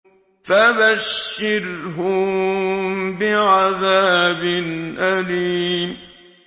فَبَشِّرْهُم بِعَذَابٍ أَلِيمٍ